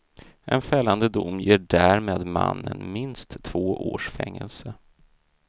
En fällande dom ger därmed mannen minst två års fängelse.